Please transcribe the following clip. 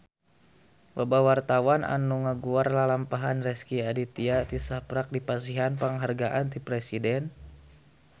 Loba wartawan anu ngaguar lalampahan Rezky Aditya tisaprak dipasihan panghargaan ti Presiden